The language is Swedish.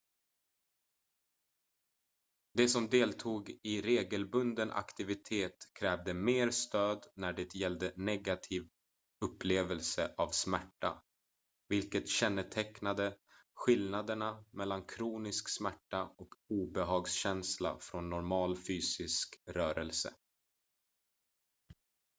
de som deltog i regelbunden aktivitet krävde mer stöd när det gällde negativ upplevelse av smärta vilket kännetecknade skillnaderna mellan kronisk smärta och obehagskänsla från normal fysisk rörelse